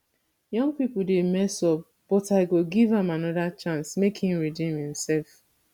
young people dey mess up but i go give am another chance make im redeem himself